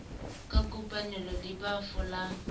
ka kopanelo le ba folang